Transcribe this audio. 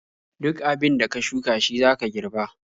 Duk abin da ka shuka shi zaka girba.